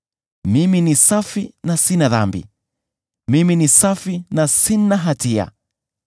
‘Mimi ni safi na sina dhambi; mimi ni safi na sina hatia.